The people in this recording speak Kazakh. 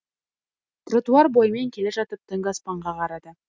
тротуар бойымен келе жатып түнгі аспанға қарады